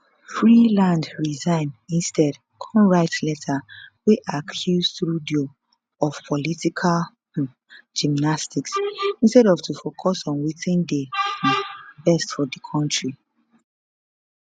freeland resign instead kon write letter wey accuse trudeau of political um gimmicks instead of to focus on wetin dey um best for di kontri